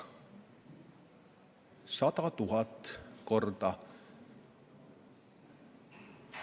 100 000 korda!